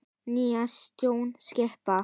Nýja stjórn skipa.